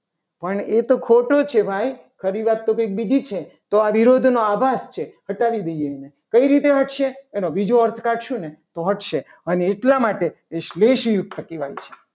પણ એ તો ખોટો છે. ભાઈ ખરી વાત તો કંઈક બીજી છે. તો આ વિરોધ નો આભાસ છે. એટલે કહી દઈએ. આને કેવી રીતે વધશે. એનો બીજો અર્થ કાઢશું ને તો વધશે. અને એટલા માટે એ શ્રેષ્ઠ યુક્ત કહેવાય છે.